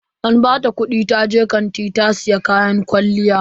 An bata kudi taje kanti ta siya kayan kwalliya.